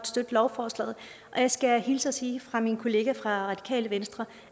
støtte lovforslaget jeg skal hilse og sige fra min kollega fra radikale venstre